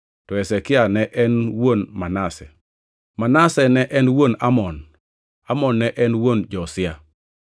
to Hezekia ne en wuon Manase. Manase ne en wuon Amon, Amon ne en wuon Josia,